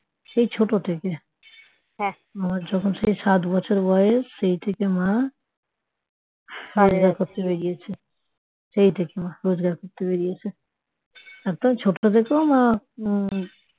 সেই ছোট থেকে আমার যখন সাত বছর বয়স সেই থেকে মা বাজার করতে বেরিয়েছে সেই থেকে রোজগার করতে বেরিয়েছে একদম ছোট থেকে মা